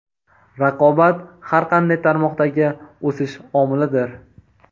Raqobat – har qanday tarmoqdagi o‘sish omilidir.